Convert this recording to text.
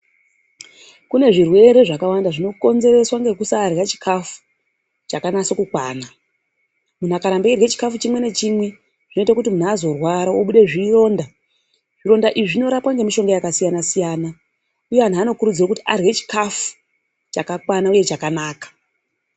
Kune zvirwere zvakawanda zvinokonzereswa nekusarya chikafu chakanyasa kukwana. Muntu akaramba achirwa chikafu chimwe zvinozoita azorwara azobuda zvironda zvironda izvi zvinorapwa nemishonga yakasiyana siyana uye antu anokurudzirwa arye chikafu chakakwana uye chakanaka.